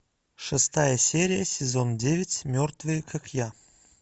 шестая серия сезон девять мертвые как я